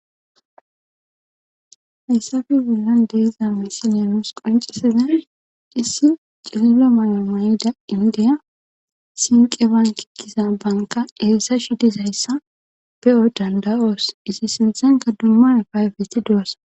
Hayssappe bollan diza misily noos qoncisiza issi cililo mayo may7ida indiya sinqe banki giza banka eessa shidizayssa pe7o danda7oos issi sinthenka dumma payfeti do7ossa.